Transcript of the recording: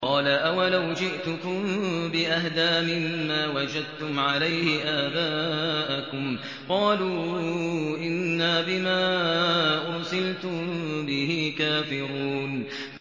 ۞ قَالَ أَوَلَوْ جِئْتُكُم بِأَهْدَىٰ مِمَّا وَجَدتُّمْ عَلَيْهِ آبَاءَكُمْ ۖ قَالُوا إِنَّا بِمَا أُرْسِلْتُم بِهِ كَافِرُونَ